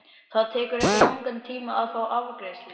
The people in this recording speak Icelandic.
Það tekur ekki langan tíma að fá afgreiðslu.